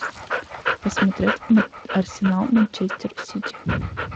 посмотреть арсенал манчестер сити